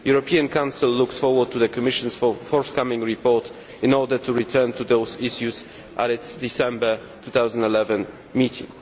The European Council looks forward to the Commission's forthcoming report in order to return to those issues at its December 2011 meeting.